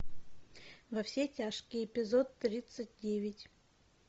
во все тяжкие эпизод тридцать девять